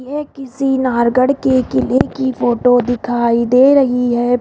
ये किसी नारगढ़ के किले की फोटो दिखाई दे रही है।